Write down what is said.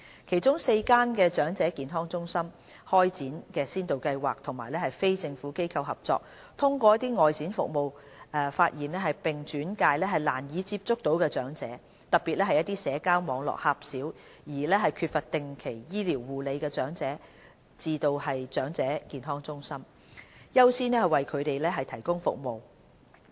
其中4間長者健康中心開展先導計劃與非政府機構合作，通過外展服務發現"難以接觸到的"長者，特別是社交網絡狹小並缺乏定期醫療護理的長者，並轉介至長者健康中心，優先為他們提供服務。